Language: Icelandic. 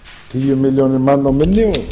tíu milljónir manna og minni